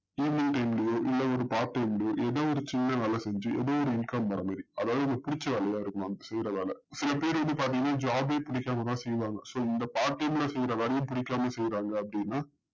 ஏதோ ஒரு சின்னவேல செஞ்சி ஏதோ ஒரு income வரமாறி அதாவது உங்களுக்கு புடிச்ச வேலையா இருக்கலாம் செய்ற வேல சிலபேர் இத பாத்திங்கனா job யே புடிக்காமதா செய்றாங்க so இந்த part time ல செய்ற வேலையே புடிக்காமா செய்றாங்க அப்டின்னா